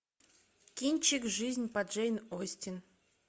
кинчик жизнь по джейн остин